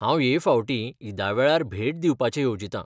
हांव हे फावटी ईदा वेळार भेट दिवपाचें येवजितां .